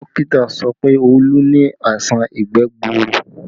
Dókítà sọ pé Olu ni àìsàn ìgbẹ́ gbuuru